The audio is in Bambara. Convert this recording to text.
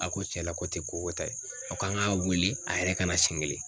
A ko tiɲɛ na ko tɛ ko kɛta ye a kan k'a wele a yɛrɛ kana seɲɛ kelen.